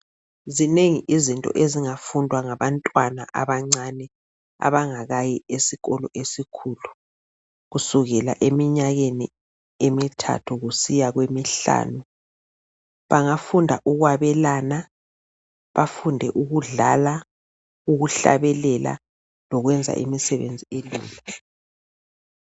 Zinengi izinto ezingafundwa ngabantwana abancane abangakayi esikolo esikhulu kusukela eminyakeni emithathu kusiya emihlanu. Bangafunda ukwabelana, bafunde ukudlala ukuhlabelela lokwenza imisebenzi elula.